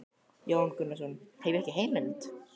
Jón Gunnarsson: Hef ég ekki heimild?